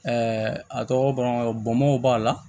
a tɔgɔ bamakɔ bɔnbɔnw b'a la